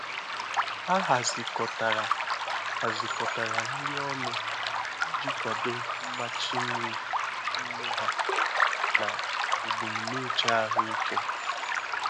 Ha hazikọtara hazikọtara nri ọnụ iji kwado mmachi nri nne ha na ebumnuche ahụike.